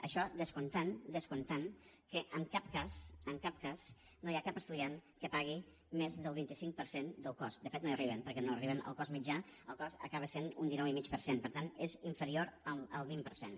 això descomptant descomptant que en cap cas en cap cas no hi ha cap estudiant que en pagui més del vint cinc per cent del cost de fet no hi arribem perquè no arribem al cost mitjà el cost acaba sent un dinou i mig per cent per tant és inferior al vint per cent